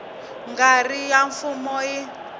nga ri ya mfumo yi